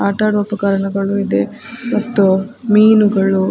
ಆಟಾಡುವ ಉಪಕರಣಗಳು ಇದೆ ಮತ್ತು ಮೀನುಗಳು --